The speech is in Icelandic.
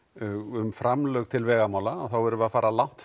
um framlög til vegamála þá erum við að fara langt